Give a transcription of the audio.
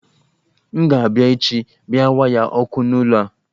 M ga abịa echi bia waya ọkụ n'ụlọ a